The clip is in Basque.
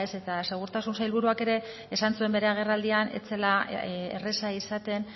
eta segurtasun sailburuak ere esan zuen bere agerraldian ez zela erraza izaten